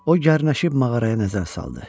O gərnəşib mağaraya nəzər saldı.